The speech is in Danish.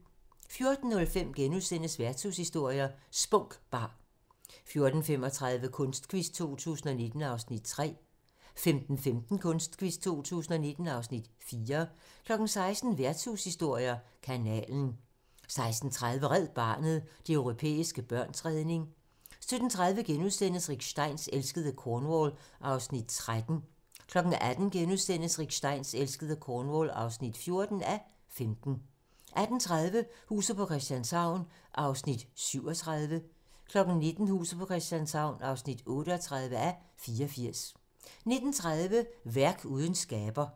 14:05: Værtshushistorier: Spunk Bar * 14:35: Kunstquiz 2019 (Afs. 3) 15:15: Kunstquiz 2019 (Afs. 4) 16:00: Værtshushistorier: Kanalen 16:30: Red Barnet - de europæiske børns redning 17:30: Rick Steins elskede Cornwall (13:15)* 18:00: Rick Steins elskede Cornwall (14:15)* 18:30: Huset på Christianshavn (37:84) 19:00: Huset på Christianshavn (38:84) 19:30: Værk uden skaber